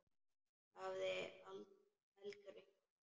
Hafði heldur enga.